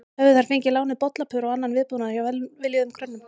Höfðu þær fengið lánuð bollapör og annan viðbúnað hjá velviljuðum grönnum.